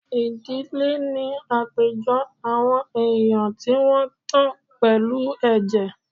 Ìdílé ní àpéjọ àwọn èèyàn tí wọ́n tan pẹ̀lú ẹ̀jẹ̀